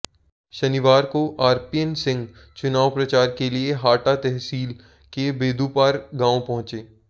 शनिवार को आरपीएन सिंह चुनाव प्रचार के लिए हाटा तहसील के बेदूपार गांव पहुंचे